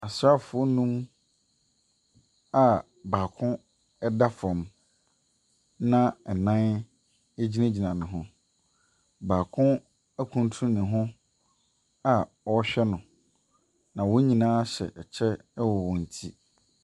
Asraafoɔ nnum a baako da fam, na nnan gyinagyina ne ho. Baako akuntunu ne hɔ a ɔrehwɛ no. Na wɔn nyinaa hyɛ kyɛ wɔ wɔn ti.